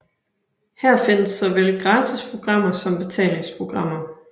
Her findes såvel gratis programmer som betalingsprogrammer